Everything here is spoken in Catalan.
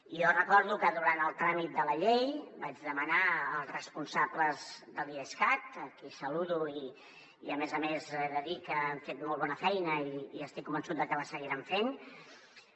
i jo recordo que durant el tràmit de la llei vaig demanar als responsables de l’idescat a qui saludo i a més a més he de dir que han fet molt bona feina i estic convençut de que la seguiran fent